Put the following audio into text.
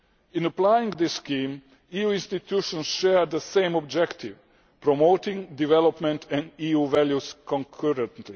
In applying this scheme, the EU institutions share the same objective promoting development and EU values concurrently.